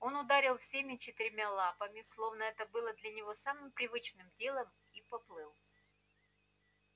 он ударил всеми четырьмя лапами словно это было для него самым привычным делом и поплыл